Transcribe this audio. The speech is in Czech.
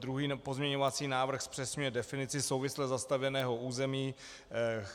Druhý pozměňovací návrh zpřesňuje definici souvisle zastavěného území.